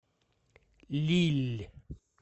лилль